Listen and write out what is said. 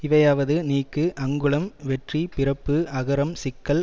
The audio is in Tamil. இவையாவது நீக்கு அங்குளம் வெற்றி பிறப்பு அகரம் சிக்கல்